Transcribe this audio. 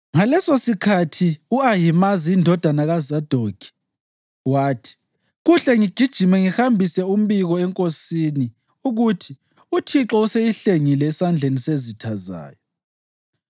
Ngalesosikhathi u-Ahimazi indodana kaZadokhi wathi, “Kuhle ngigijime ngihambise umbiko enkosini ukuthi uThixo useyihlengile esandleni sezitha zayo.”